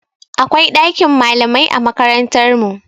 Akwai ɗakin malamai a makarantar mu.